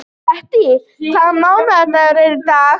Bettý, hvaða mánaðardagur er í dag?